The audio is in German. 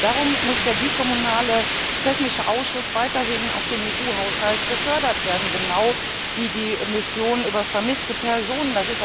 Darum muss der bikommunale technische Ausschuss weiterhin aus dem EU Haushalt gefördert werden, genau wie die Mission zu vermissten Personen.